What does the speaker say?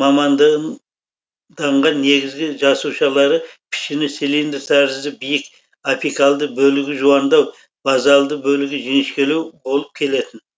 мамандыданған негізгі жасушалары пішіні цилиндр тәрізді биік апикальды бөлігі жуандау базальды бөлігі жіңішкелеу болып келетін